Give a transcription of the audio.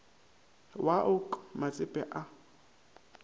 wa o k matsepe a